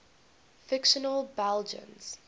fictional belgians